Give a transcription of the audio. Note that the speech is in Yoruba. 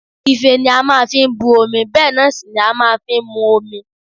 Ife ni a máa fi bu omi bẹ́ẹ̀ náà sì ni a máa fi ń mú omi